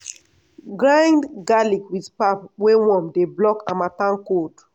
grind garlic with pap wey warm dey block harmattan cold.